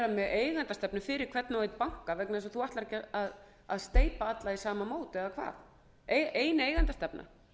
með eigendastefnu fyrir hvern og einn banka vegna þess að meiningin er ekki að steypa alla í sama mót eða hvað ein eigendastefna